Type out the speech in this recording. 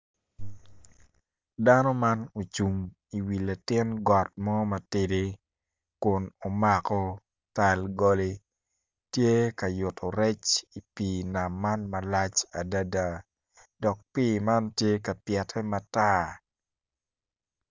Dano man ocung i wi got mo matidi kun omako tal koli tye ka yutu rec i pii nam man malac adada dok pii man tye ka pyette matar